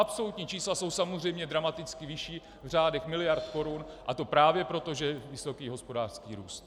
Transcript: Absolutní čísla jsou samozřejmě dramaticky vyšší v řádech miliard korun, a to právě proto, že je vysoký hospodářský růst.